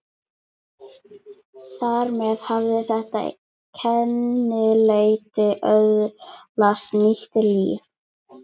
Þar með hafði þetta kennileiti öðlast nýtt líf.